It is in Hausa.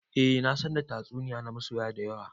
Eh na san da tatsuniya na soyayya da yawa.